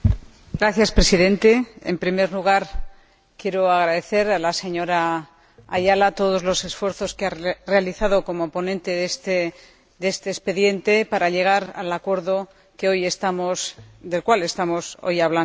Señor Presidente, en primer lugar, quiero agradecer a la señora Ayala todos los esfuerzos que ha realizado, como ponente de este expediente, para llegar al acuerdo del cual estamos hoy hablando.